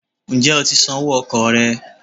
Ǹjẹ́ o ti san owó okò rẹ̀